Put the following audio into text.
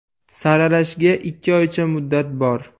Saralashga ikki oycha muddat bor.